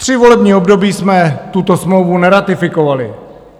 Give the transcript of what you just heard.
Tři volební období jsme tuto smlouvu neratifikovali.